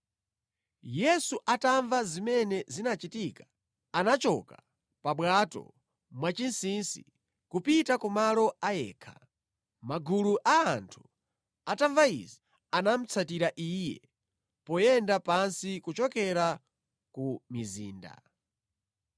Yesu atamva zimene zinachitika, anachoka pa bwato mwachinsinsi kupita kumalo a yekha. Magulu a anthu atamva izi anamutsatira Iye poyenda pansi kuchokera ku mizinda.